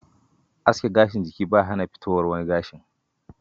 Aske gashin jiki ba ya hana fitowar wani gashin.